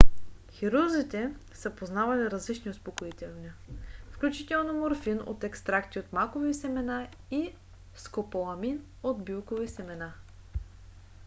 хирурзите са познавали различни успокоителни включително морфин от екстракти от макови семена и скополамин от билкови семена